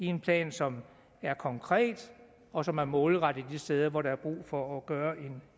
en plan som er konkret og som er målrettet de steder hvor der er brug for at gøre